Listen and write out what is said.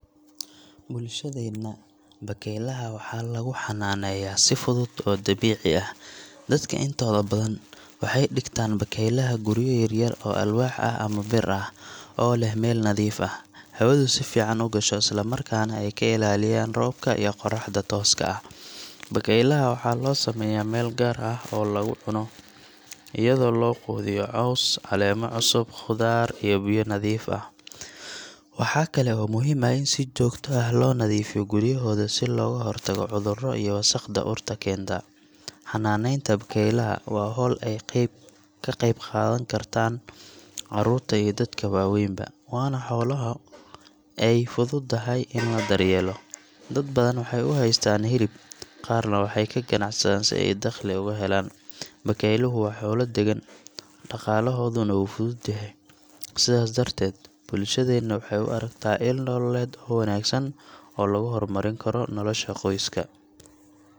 Bulshadeenna, bakaylaha waxaa lagu xannaaneeyaa si fudud oo dabiici ah. Dadka intooda badan waxay dhigtaan bakaylaha guryo yar yar oo alwaax ah ama bir ah, oo leh meel nadiif ah, hawadu si fiican u gasho, isla markaana ay ka ilaalinayaan roobka iyo qorraxda tooska ah. Bakaylaha waxaa loo sameeyaa meel gaar ah oo lagu cuno, iyadoo loo quudiyo caws, caleemo cusub, khudaar iyo biyo nadiif ah. Waxaa kale oo muhiim ah in si joogto ah loo nadiifiyo guryahooda si looga hortago cudurro iyo wasakhda urta keenta. Xannaaneynta bakaylaha waa hawl ay ka qayb qaataan carruurta iyo dadka waaweynba, waana xoolo ay fududahay in la daryeelo. Dad badan waxay u haystaan hilib, qaarna waxay ka ganacsadaan si ay dakhli uga helaan. Bakayluhu waa xoolo deggan, dhaqaalahooduna wuu fudud yahay, sidaas darteed bulshada waxay u aragtaa il nololeed oo wanaagsan oo lagu horumarin karo nolosha qoyska.